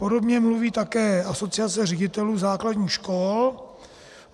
Podobně mluví také Asociace ředitelů základních škol.